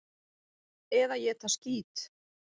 Eða éta skít!